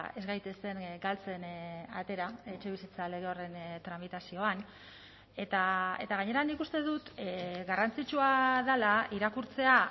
ez gaitezen galtzen atera etxebizitza lege horren tramitazioan eta gainera nik uste dut garrantzitsua dela irakurtzea